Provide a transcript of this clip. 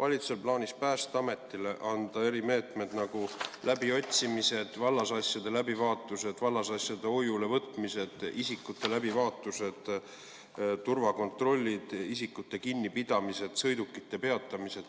valitsusel plaanis Päästeametile anda õigus erimeetmeteks, nagu läbiotsimine, vallasasjade läbivaatus, vallasasjade hoiule võtmine, isikute läbivaatus, turvakontroll, isikute kinnipidamine, sõidukite peatamine.